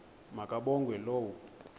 ma kabongwe low